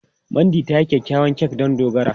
Mandy ta yi kyakkyawar kek don Dogara.